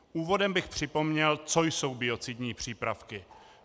Úvodem bych připomněl, co jsou biocidní přípravky.